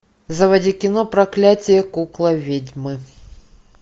заводи кино проклятье куклы ведьмы